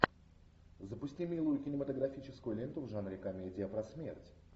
запусти милую кинематографическую ленту в жанре комедия про смерть